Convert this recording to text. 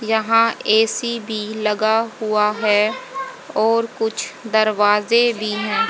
यहां ए_सी बी लगा हुआ है और कुछ दरवाजे भी हैं।